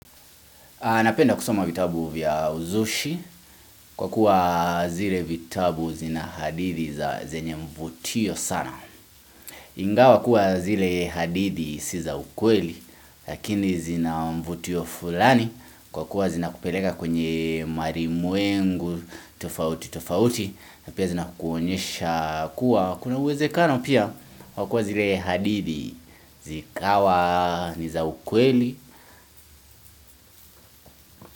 Anapenda kusoma vitabu vya uzushi kwa kuwa zile vitabu zina hadithi za zenye mvutio sana. Ingawa kuwa zile hadithi si za ukweli lakini zina mvutio fulani kwa kuwa zina kupeleka kwenye marimwengu, tofauti, tofauti. Na pia zina kuonyesha kuwa kuna uwezekano pia kwa kuwa zile hadithi zikawa ni za ukweli.